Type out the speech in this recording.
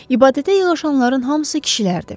İbadətə yığışanların hamısı kişilərdi.